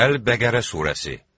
Əl-Bəqərə surəsi.